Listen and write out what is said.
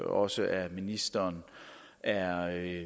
også af ministeren er